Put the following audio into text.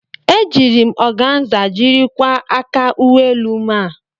Ejiiri m ọganza jiri kwaa aka uwe elu m a.